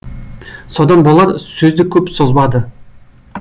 содан болар сөзді көп созбады